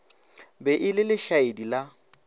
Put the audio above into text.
be e le lešaedi la